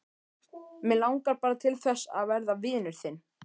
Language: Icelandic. Mig langar bara til þess að verða vinur þinn.